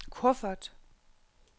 kuffert